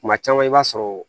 Kuma caman i b'a sɔrɔ